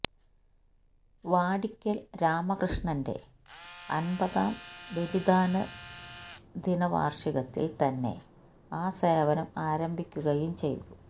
വാടിക്കല് രാമകൃഷ്ണന്റെ അന്പതാം ബലിദാന ദിന വാര്ഷികത്തില് തന്നെ ആ സേവനം ആരംഭിക്കുകയും ചെയ്തു